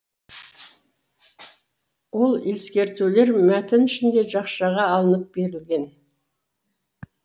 ол ескертулер мәтін ішінде жақшаға алынып берілген